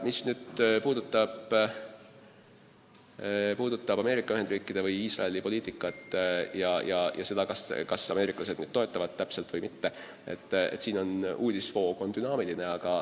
Mis puudutab Ameerika Ühendriikide ja Iisraeli poliitikat ja seda, kas ameeriklased seda toetavad või mitte, siis sellekohane uudistevoog on dünaamiline.